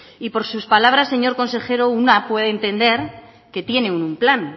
y por sus palabras señor consejero una puede entender que tienen un plan